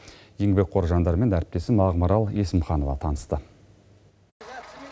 еңбекқор жандармен әріптесім ақмарал есімханова танысты